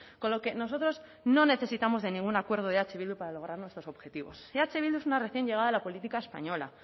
con lo que nosotros no necesitamos de ningún acuerdo de eh bildu para lograr nuestros objetivos eh bildu es una recién llegada a la política española